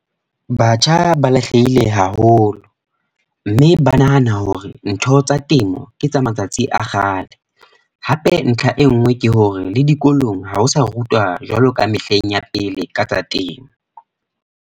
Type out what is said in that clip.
Batjha ba lahlehile haholo. Mme ba nahana hore, ntho tsa temo ke tsa matsatsi a kgale. Hape ntlha e nngwe ke hore le dikolong, ha ho sa rutwa jwaloka mehleng ya pele ka tsa temo.